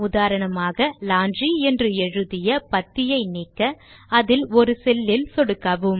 உதாரணமாக லாண்ட்ரி என்று எழுதிய பத்தியை நீக்க அதில் ஒரு செல் இல் சொடுக்கவும்